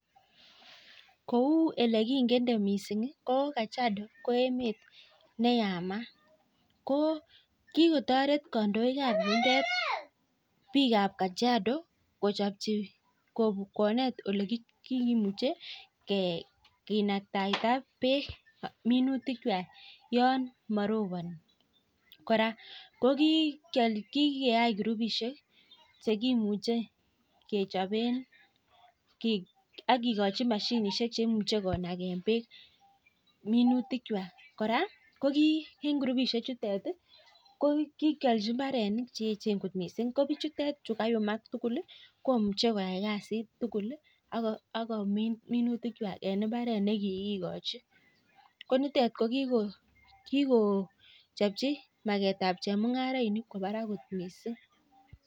Kou elekikende mising ko Kajiado ko emet neyamat ko kikotaret kandoik ab yundet bik ab Kajiado kochab konet olekimuche kenaktaita bek minutik chwak marobani koraa kokikeyai kurubishek cheimuche kechaben akekachi mashinishek cheimuche konaken bek minutik chwak koraa ko en kurubishek chutet kokikyalchi imbaronok cheyechen kot mising kobichutet chi kayumak tugul komuche koyai kasit tugul akomin minutik chwak en imbaret nekikikochi konitet kokikochabchi maket ab chemungarainik koba Barak kot mising